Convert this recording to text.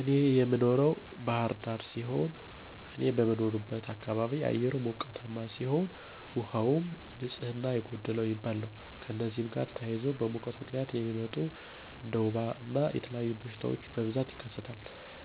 እኔ የምኖረው ባህር ዳር ሲሆን፤ እኔ በምኖርበት አካባቢ አየሩ ሞቃታ ሲሆን፤ ውሃውም ንፅህና የጎደለው የሚባል ነው። ከእነዚህም ጋር ተያይዞ በሙቀት ምክንያት የሚመጡ እንደ ወባ እና የተለያዩ በሽታወች በብዛት ይከሰታል።